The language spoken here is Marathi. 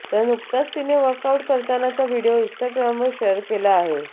तर नुकताच तिने वर्कआउट करतानाचा व्हिडिओ इन्स्टाग्रामवर शेअर केला आहे